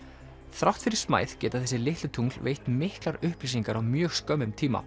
þrátt fyrir smæð geta þessi litlu tungl veitt miklar upplýsingar á mjög skömmum tíma